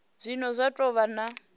zwine zwa do vha na